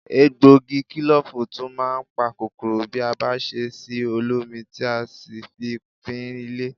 Egbògi kílòfù tún máa ń pa kòkòrò bí a bá ṣe sí olómi tí a sì fi fín ilé